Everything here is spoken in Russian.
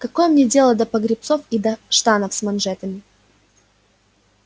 какое мне дело до погребцов и до штанов с манжетами